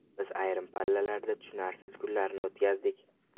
Biz ayrim pallalarda tushunarsiz kunlarni o‘tkazdik.